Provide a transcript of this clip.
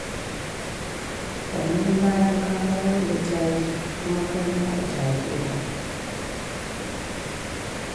Sannan bayan ka bayar da caji, kuma kai ma a caje ka.